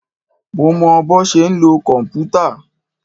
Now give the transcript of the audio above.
Mo mọ bọ́ ṣe ń lo kòmpútà.